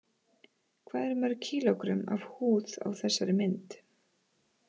Hvað eru mörg kílógrömm af húð á þessari mynd?